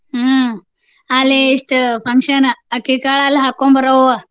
ಹ್ಮ್ ಅಲ್ಲೆ ಇಷ್ಟ್ function ಅಕ್ಕಿಕಾಳ ಅಲ್ಲಿ ಹಾಕ್ಕೊಂಡ್ ಬರೋವ.